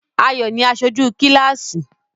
Ayọ̀ ni aṣojú kíláàsì.